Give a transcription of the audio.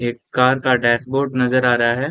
एक कार का desk board नजर आ रहा है।